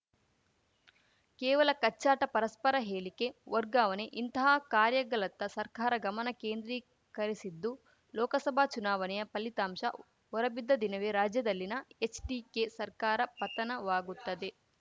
ಕೇವಲ ಕಚ್ಚಾಟ ಪರಸ್ಪರ ಹೇಳಿಕೆ ವರ್ಗಾವನೆ ಇಂತಹ ಕಾರ್ಯಗಲತ್ತ ಸರ್ಕಾರ ಗಮನ ಕೇಂದ್ರೀಕರಿಸಿದ್ದು ಲೋಕಸಭಾ ಚುನಾವಣೆಯ ಫಲಿತಾಂಶ ಹೊರಬಿದ್ದ ದಿನವೇ ರಾಜ್ಯದಲ್ಲಿನ ಎಚ್‌ಡಿಕೆ ಸರ್ಕಾರ ಪತನವಾಗುತ್ತದೆ